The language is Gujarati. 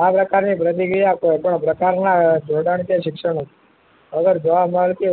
આ પ્રકાર ની પ્રતિક્રિયા કોઈ પણ પ્રકાર ના જોડાણ કે શિક્ષણ અવરાવ્જવા મળતી